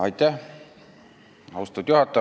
Austatud juhataja!